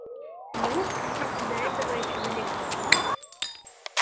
ну до этого ещё далеко